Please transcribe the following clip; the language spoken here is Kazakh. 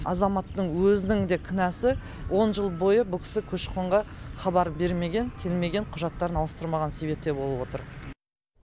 азаматтың өзінің де кінәсі он жыл бойы бұл кісі көші қонға хабарын бермеген келмеген құжаттарын ауыстырмаған себепте болып отыр